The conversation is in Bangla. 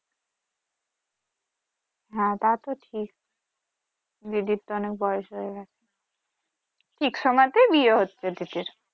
হ্যা তা তো ঠিক দিদির তো অনেক বয়স হয়ে গেছে ঠিক সময়তেই বিয়ে হচ্ছে দিদির